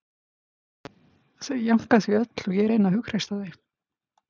Þau jánka því öll og ég reyni að hughreysta þau